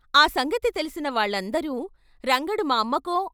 ఆ సంగతి తెలిసిన వాళ్ళందరూ రంగడు " మా అమ్మకో?